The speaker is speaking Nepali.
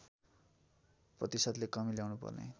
प्रतिशतले कमी ल्याउनुपर्ने